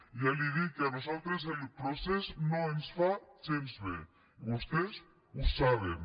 ja li dic que a nosaltres el procés no ens fa gens de bé i vostès ho saben